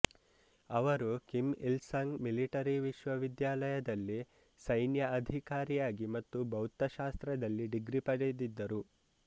ಅವರು Kim Il Sung military ವಿಶ್ವವಿದ್ಯಾಲಯದಲ್ಲಿ ಸೈನ್ಯ ಅಧಿಕಾರಿಯಾಗಿ ಮತ್ತು ಭೌತಶಾಸ್ತ್ರದಲ್ಲಿ ಡಿಗ್ರಿ ಪಡೆದಿದ್ದರು